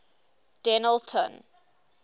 dennilton